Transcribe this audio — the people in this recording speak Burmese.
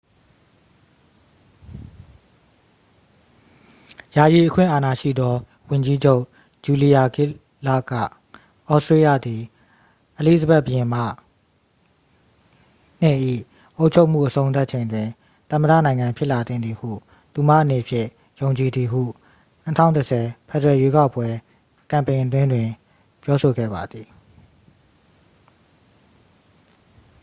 ယာယီအခွင့်အာဏာရှိသော ဝန်ကြီးချုပ် ဂျူလီယာဂစ်လာ့ဒ် က သြစတေးလျသည် အလီဇဘက် ဘုရင်မ ii ၏အုပ်ချုပ်မှုအဆုံးသတ်ချိန်တွင် သမ္မတနိုင်ငံဖြစ်လာသင့်သည်ဟု သူမအနေဖြင့်ယုံကြည်သည်ဟု 2010 ဖက်ဒရယ်ရွေးကောက်ပွဲကမ်ပိန်အတွင်းတွင် ပြောဆိုခဲ့ပါသည်